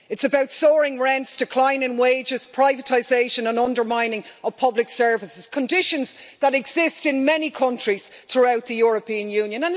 It's about soaring rents, declining wages, privatisation and undermining of public services, conditions that exist in many countries throughout the European Union.